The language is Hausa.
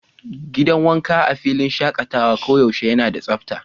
Gidan wanka a filin shakatawa koyaushe yana da tsabta.